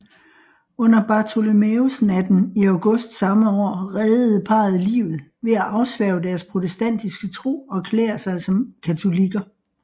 Under Bartholomæusnatten i august samme år reddede parret livet ved at afsværge deres protestantiske tro og erklære sig som katolikker